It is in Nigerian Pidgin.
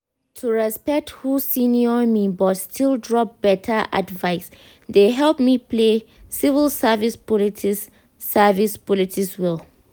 to respect who senior me but still drop better advice dey help me play civil service politics service politics well.